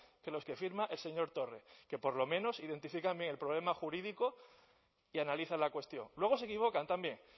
que los que firma el señor torre que por lo menos identifica el problema jurídico y analiza la cuestión luego se equivocan también